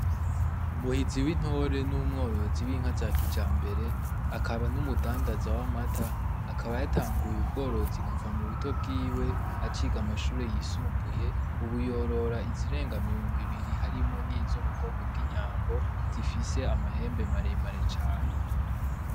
Muhiziwintore n'umworozi w'inka za kijambere, akaba n'umudandaza w'amata, akaba yatanguy'ubworozi kuva mu buto bwiwe aciga mu mashure yisumbuye .Ubu yorora izirenga mirongo ibiri harimwo n'izo mu bwoko bw'inyambo zifise amahembe maremare cane.